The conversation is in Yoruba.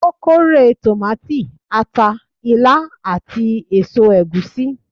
ó kórè tomati, ata, ilá, ati eso egusi.